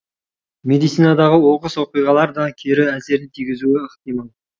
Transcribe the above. медицинадағы оқыс оқиғалар да кері әсерін тигізуі ықтимал